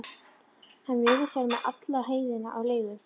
Hann virðist vera með alla heiðina á leigu.